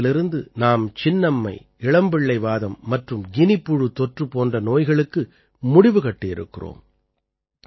பாரதத்திலிருந்து நாம் சின்னம்மை இளம்பிள்ளை வாதம் மற்றும் கினிப்புழு தொற்று போன்ற நோய்களுக்கு முடிவு கட்டியிருக்கிறோம்